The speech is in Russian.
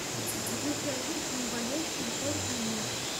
выключай звук зомбоящик на сорок минут